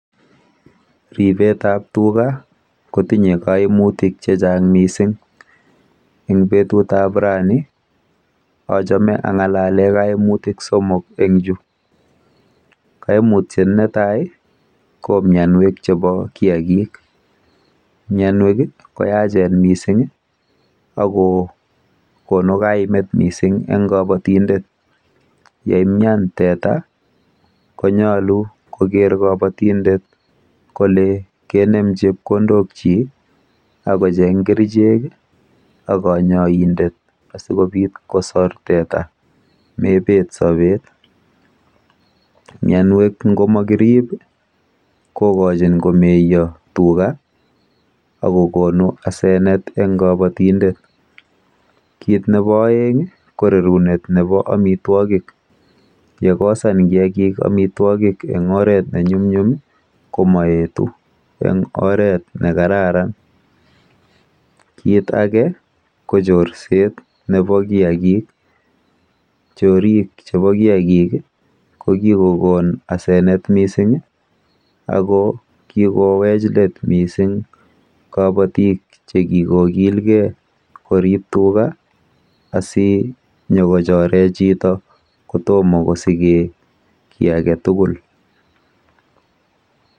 Ripetap tuga kotinye kaimutik chechang mising. Ebg petutap rani, achame ang'alale koimutik somok eng chu. Kaimutyet netai ko mionwek chepo kiakik. Mionwek koyachen mising ako konu kaimet mising eng kabatindet. Yeimyan teta konyolu koker kabatindet kole kenem chepkondokchi asikocheng kerichek ak kanyoindet asikobit kosor teta mepet sobet. Mienwek ngomakirip kokochin komeyo tuga akokonu asenet eng kabatindet. Kit nepo oeng ko rerunet nepo amitwokik. Yekosan kiakik amitwokik eng oret nenyumnyum ko moetu eng oret nekararan. Kit ake ko chorset nepo kiakik. Chorik chepo kiakik ko kikokon asenet mising ako kikowech let mising kabotik chekikokilgei korip tuga asinyokochore chito kotomo kosike kiy aketugul.